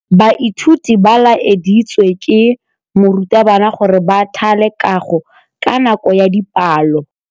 Baithuti ba laeditswe ke morutabana gore ba thale kagô ka nako ya dipalô.